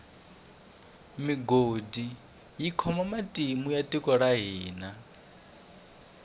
migodi yi khome matimu ya tiko ra hina